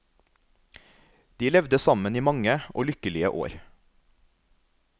De levde sammen i mange og lykkelige år.